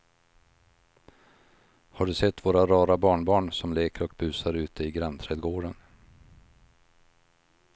Har du sett våra rara barnbarn som leker och busar ute i grannträdgården!